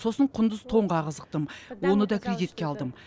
сосын құндыз тонға қызықтым оны да кредитке алдым